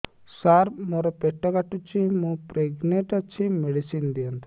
ସାର ମୋର ପେଟ କାଟୁଚି ମୁ ପ୍ରେଗନାଂଟ ଅଛି ମେଡିସିନ ଦିଅନ୍ତୁ